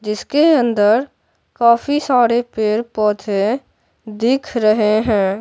जिसके अंदर काफी सारे पेड़-पौधे दिख रहे हैं।